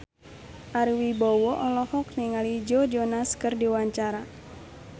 Ari Wibowo olohok ningali Joe Jonas keur diwawancara